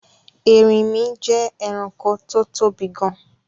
Erinmí je eranko tó tóbi gan